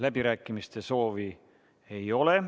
Läbirääkimiste soovi ei ole.